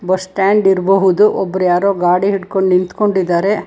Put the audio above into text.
Bus stand ಇರಬಹುದು ಒಬ್ಬರು ಯಾರೋ ಗಾಡಿ ಹಿಡ್ಕೊಂಡ್ ನಿಂತ್ಕೊಂಡಿದ್ದಾರೆ.